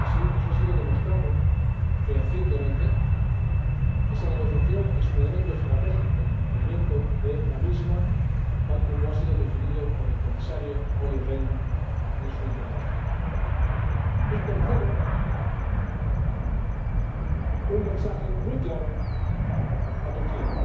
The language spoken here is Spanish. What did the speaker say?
Eso ha sido demostrado fehacientemente. Esa negociación es un elemento estratégico y el mantenimiento de la misma, tal como ha sido definido por el Comisario Olli Rehn en su intervención. Y tercero, un mensaje muy claro a Turquía.